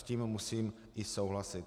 S tím musím i souhlasit.